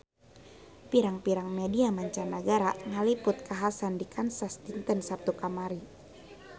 Pirang-pirang media mancanagara ngaliput kakhasan di Kansas dinten Saptu kamari